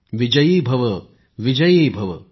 विजयी भव विजयी भव